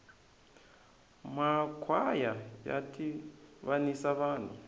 ma kwhaya ya tivanisa vanhu